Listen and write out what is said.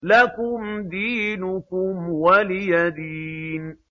لَكُمْ دِينُكُمْ وَلِيَ دِينِ